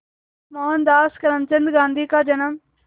मोहनदास करमचंद गांधी का जन्म